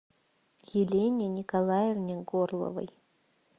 елене николаевне горловой